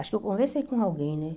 Acho que eu conversei com alguém, né?